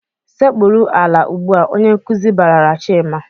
"Sekpuru ala ugbu a!" Onye nkuzi barala Chima.